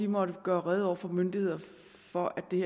måtte gøre rede over for myndighederne for at det